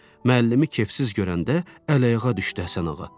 Müəllimi kefsiz görəndə əl-ayağa düşdü Həsənağa.